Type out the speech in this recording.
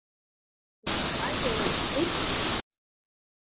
Hvað var ég að hugsa?